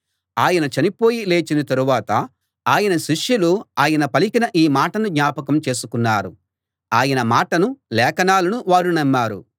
ఆయన చనిపోయి లేచిన తరువాత ఆయన శిష్యులు ఆయన పలికిన ఈ మాటను జ్ఞాపకం చేసుకున్నారు ఆయన మాటను లేఖనాలను వారు నమ్మారు